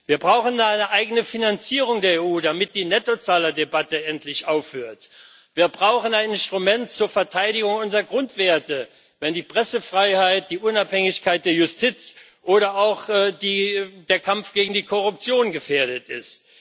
Wir brauchen eine eigene Finanzierung der EU, damit die Nettozahlerdebatte endlich aufhört. Wir brauchen ein Instrument zur Verteidigung unserer Grundwerte, wenn die Pressefreiheit, die Unabhängigkeit der Justiz oder auch der Kampf gegen die Korruption gefährdet ist.